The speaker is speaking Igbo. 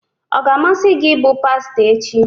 Ọ ga-amasị gị ịbụ pastọ echi?